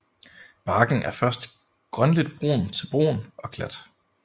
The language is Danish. Barken er først grønligt brun til brun og glat